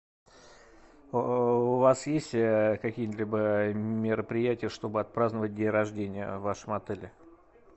у вас есть какие либо мероприятия чтобы отпраздновать день рождения в вашем отеле